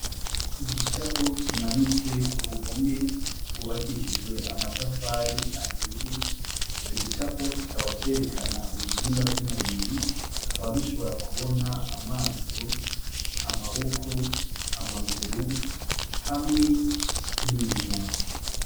Igicapo kimanitse ku ruhome gwubakishijwe amatafari ahiye ico gicapo kikaba cerekana ibihimba vy' umubiri tukaba dushobora kubona amaso, amaboko, amaguru hamwe n' iminwa.